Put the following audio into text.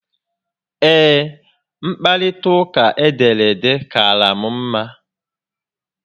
Ee, mkparita uka edere ede kaara m mma